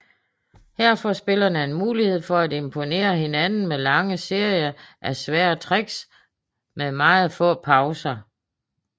Her får spillerne en mulighed for at imponere hinanden med lange serier af svære tricks med meget få pauser